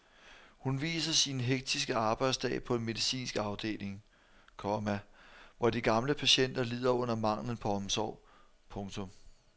Hun viser sin hektiske arbejdsdag på en medicinsk afdeling, komma hvor de gamle patienter lider under manglen på omsorg. punktum